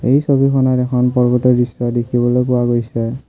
এই ছবিখনত এখন পৰ্বতৰ দৃশ্য দেখিবলৈ পোৱা গৈছে।